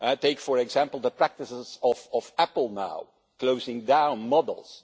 Take, for example, the practices of Apple now, closing down models.